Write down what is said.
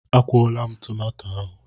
A kwụọla m tomato ahụ.